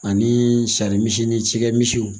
Ani sarimisi cikɛmisiw